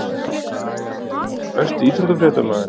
Gunnlaugur Jónsson Besti íþróttafréttamaðurinn?